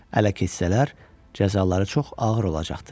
Ələ keçsələr, cəzaları çox ağır olacaqdı.